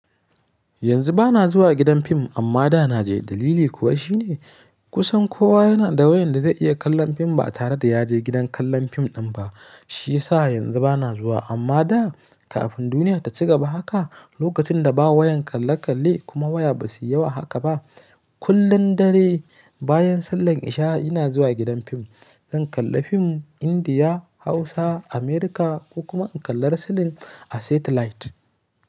Yanzu ba na zuwa gidan fim amma da na je. Dalili kuwa shine kusan kowa yana da wayan da zai iya kallon fim ba tare da ya je gidan kallon fim ɗin ba. Shi ya sa yanzu ba na zuwa amma da kafin duniya ta ci gaba haka, lokacin da ba wayan kalle kalle kuma waya ba su yi yawa haka ba, kullum dare bayan sallan isha ina zuwa gidan fim. Zan kalla fim Indiya, Hausa, Amurka ko kuma in kalla wrestling a satellite.